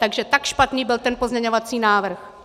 Takže tak špatný byl ten pozměňovací návrh.